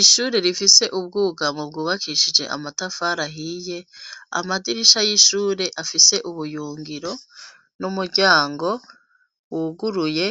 Ishure rifise ubwugamo bwubakishije amatafar’ahiye amadirisha y'ishure afise ubuyungiro n'umuryango wuguruye